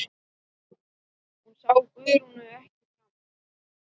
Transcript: Hún sá Guðrúnu ekki framar.